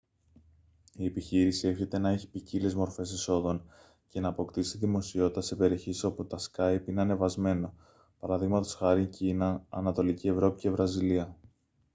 η επιχείρηση εύχεται να έχει ποικίλες μορφές εσόδων και να αποκτήσει δημοσιότητα σε περιοχές όπου το σκάυπ είναι ανεβασμένο π.χ. κίνα ανατολική ευρώπη και βραζιλία